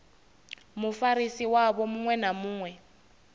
mufarisi wavho muṅwe na muṅwe